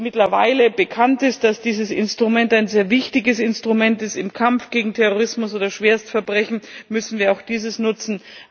Nachdem jetzt mittlerweile bekannt ist, dass dieses Instrument ein sehr wichtiges Instrument ist im Kampf gegen Terrorismus oder Schwerstverbrechen, müssen wir dieses auch nutzen.